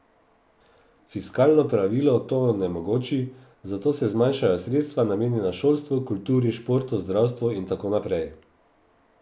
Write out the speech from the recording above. Fiskalno pravilo to onemogoči, zato se zmanjšajo sredstva, namenjena šolstvu, kulturi, športu, zdravstvu in tako naprej ...